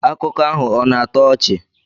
Akụkọ ahụ ọ̀ na-atọ ọchị?